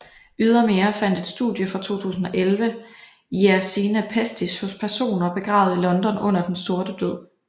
Ydermere fandt et studie fra 2011 Yersinia pestis hos personer begravet i London under Den sorte død